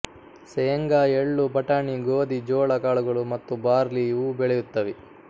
ಸೇಂಗಾ ಎಳ್ಳು ಬಟಾಣಿ ಗೋದಿ ಜೋಳ ಕಾಳುಗಳು ಮತ್ತು ಬಾರ್ಲಿ ಇವೂ ಬೆಳೆಯುತ್ತವೆ